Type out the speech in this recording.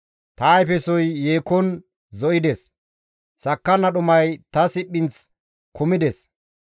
Ta ayfesoy yekon zo7ides; sakkanna dhumay ta siphinth kammides.